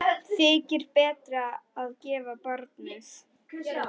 Þykir betra að gefa barnið.